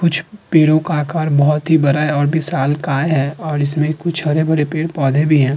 कुछ पेड़ों का आकार बहोत ही बड़ा है और भी विशालकाय है और इसमें कुछ हरे-भरे पेड़-पौधे भी हैं।